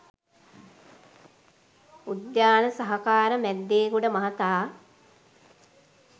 උද්‍යාන සහකාර මැද්දේගොඩ මහතා